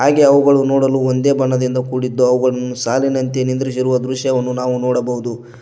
ಹಾಗೆ ಅವುಗಳನ್ನು ನೋಡಲು ಒಂದೇ ಬಣ್ಣದಿಂದ ಕೂಡಿದ್ದು ಅವುಗಳನ್ನು ಸಾಲಿನಂತೆ ನಿಂದ್ರಿಸಿರುವ ದೃಶ್ಯವನ್ನು ನಾವು ನೋಡಬಹುದು.